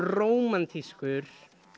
rómantískur